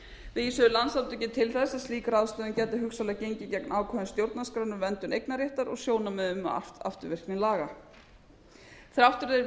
vísuðu landssamtökin til þess að slík ráðstöfun gæti hugsanlega gengið gegn ákvæðum stjórnarskrárinnar um verndun eignarréttar og sjónarmiðum um afturvirkni laga þrátt fyrir